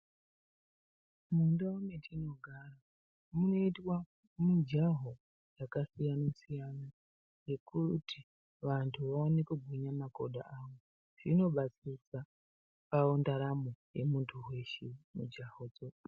Mundau metinogara munoitwa mujaho yakasiyana siyana yekuti vantu vaone kugwinya makodo awo zvinobatsiridza ndaramo yemuntu weshe mujahodzo.